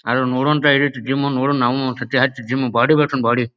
ಆದ್ರ ನೋಡೋವಂಥ ಯೇತ್ ಇದ್ ಜಿಮ್ ನೋಡೋ ನಾವ್ ಒಂದ್ಸರೆ ಹಚ್ ಜಿಮ್ ಬಾಡಿ ಬೆಳಸುನ್ ಬಾಡಿ .